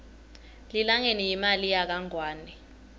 lilangeni yimali yakangwane